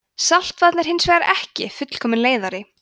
saltvatn er hins vegar ekki fullkominn leiðari